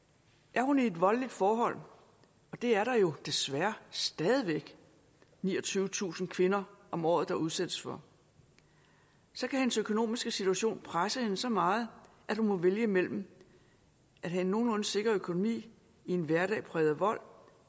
er hun i et voldeligt forhold og det er der jo desværre stadig væk niogtyvetusind kvinder om året der udsættes for så kan hendes økonomiske situation presse hende så meget at hun må vælge imellem at have en nogenlunde sikker økonomi i en hverdag præget af vold